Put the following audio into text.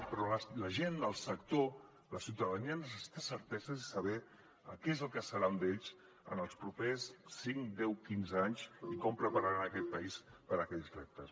però la gent del sector la ciutadania necessita certeses i saber què és el que serà d’ells en els propers cinc deu quinze anys i com prepararan aquest país per a aquells reptes